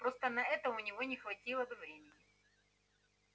просто на это у него не хватило бы времени